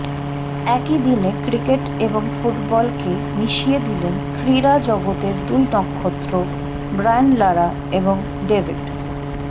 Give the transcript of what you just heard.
একই দিনে ক্রিকেট এবং ফুটবলকে মিশিয়ে দিলেন ক্রীড়া জগতের দুই নক্ষত্র ব্রায়ান লারা এবং ডেভিড